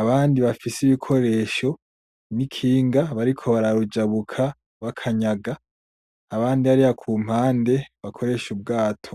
abandi bafise ibikoresho n'ikinga bariko bararujabuka bakanyaga, abandi hariya kumpande bakoresha ubwato.